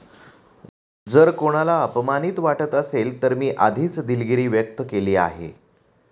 जर कोणाला अपमानित वाटत असेल तर मी आधीच दिलगिरी व्यक्त केली आहे.